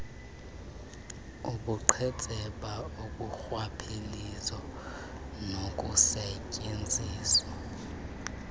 ubuqhetseba urhwaphilizo nokusetyenziswa